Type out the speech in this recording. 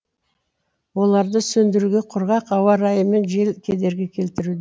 оларды сөндіруге құрғақ ауа райы мен жел кедергі келтіру